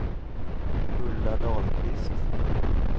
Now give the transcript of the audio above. Hulda Dahlqvist